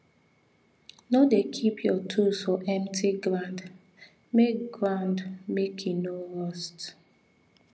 no dey keep your tools for empty ground make ground make e no rust